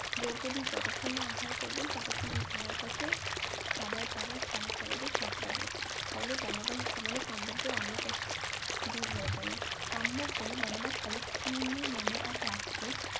দ্রৌপদী যতক্ষণ না আহার করবেন ততক্ষণ এই থালার কাছে খাবার দাবার যা চাইবে সব পাবেন ফলে বনবাস জীবনে পাণ্ডবদের অন্য কষ্ট দূর হয়ে গেল কাম্য বনে বনবাসকালে কিরমির নামে এক রাক্ষস